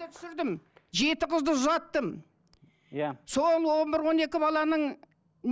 түсірдім жеті қызды ұзаттым иә соның он бір он екі баланың